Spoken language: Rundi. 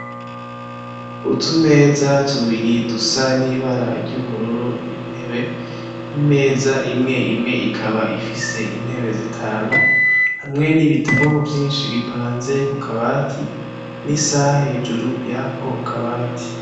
Utumeza tubiri dusa n'ibara ry'ubururu n'intebe, imeza imwe imwe ikaba ifise intebe zitanu hamwe n'ibitabu vyinshi bipanze ku kabati n'isaha hejuru yako kabati.